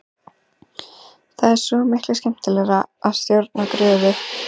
Það er svo miklu skemmtilegra að stjórna gröfu.